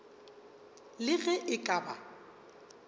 le ge e ka ba